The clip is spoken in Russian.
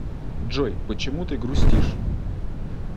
джой почему ты грустишь